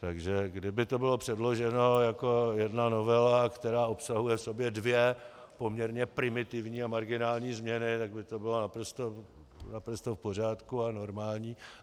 Takže kdyby to bylo předloženo jako jedna novela, která obsahuje v sobě dvě poměrně primitivní a marginální změny, tak by to bylo naprosto v pořádku a normální.